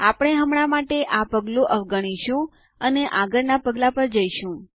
આપણે હમણાં માટે આ પગલું અવગણીશું અને આગળના પગલા પર જશું